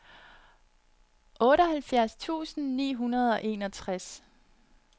otteoghalvfjerds tusind ni hundrede og enogtres